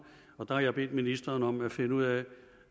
og der har jeg bedt ministeren om at finde ud af